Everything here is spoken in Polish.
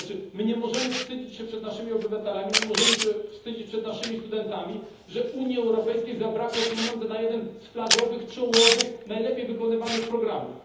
My nie możemy wstydzić się przed naszymi obywatelami, nie możemy się wstydzić przed naszymi studentami, że Unii Europejskiej zabrakło pieniędzy na jeden z flagowych, czołowych, najlepiej wykonywanych programów.